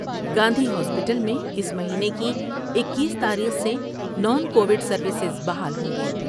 Gandhi hospital میں اس مہینے کی اکیس تاریخ سے نان کو وڈ سرویسیں بحال ہوں گی ۔